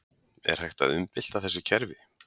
Er hægt að umbylta þessu kerfi?